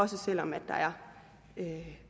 selv om der er